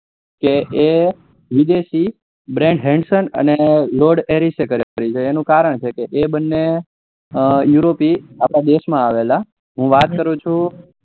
કે એ વિદેશી કરેલી છે એનું કારણ છે કે એ બને યુરોપી થી અપડા દેસ માં આવેલા હું વાત કરું છું